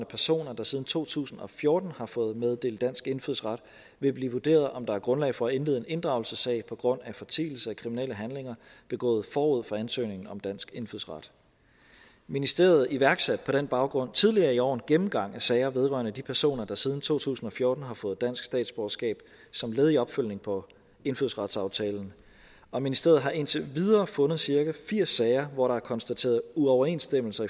personer der siden to tusind og fjorten har fået meddelt dansk indfødsret vil blive vurderet om der er grundlag for at indlede en inddragelsessag på grund af fortielse af kriminelle handlinger begået forud for ansøgningen om dansk indfødsret ministeriet iværksatte på den baggrund tidligere i år en gennemgang af sager vedrørende de personer der siden to tusind og fjorten har fået dansk statsborgerskab som led i opfølgningen på indfødsretsaftalen og ministeriet har indtil videre fundet cirka firs sager hvor der er konstateret uoverensstemmelser